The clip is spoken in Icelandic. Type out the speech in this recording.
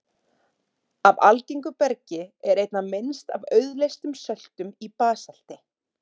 Af algengu bergi er einna minnst af auðleystum söltum í basalti.